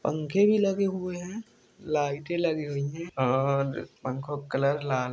पंखे भी लगे हुए हैं लाइटे लगी हुई है और पंखों का कलर लाल--